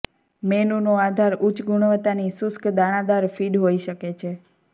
મેનુનો આધાર ઉચ્ચ ગુણવત્તાની શુષ્ક દાણાદાર ફીડ હોઈ શકે છે